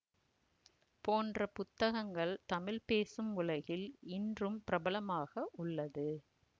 போன்ற புத்தகங்கள் தமிழ் பேசும் உலகில் இன்றும் பிரபலமாக உள்ளது